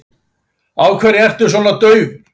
Af hverju ertu svona daufur?